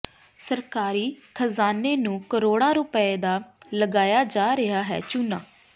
ਸਰਕਾਰੀ ਖ਼ਜ਼ਾਨੇ ਨੂੰ ਕਰੋੜਾ ਰੁਪਏ ਦਾ ਲਗਾਇਆ ਜਾ ਰਿਹਾ ਹੈ ਚੂਨਾ